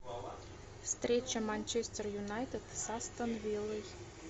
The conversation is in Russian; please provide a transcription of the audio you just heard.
встреча манчестер юнайтед с астон виллой